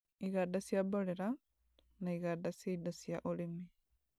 iganda cia mborera, na iganda cia indo cia ũrĩmi.